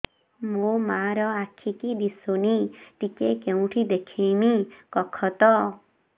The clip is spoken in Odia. ମୋ ମା ର ଆଖି କି ଦିସୁନି ଟିକେ କେଉଁଠି ଦେଖେଇମି କଖତ